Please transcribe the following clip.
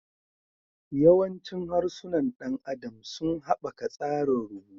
Yawancin harsunan ɗan adam sun haɓaka tsarin rubutu.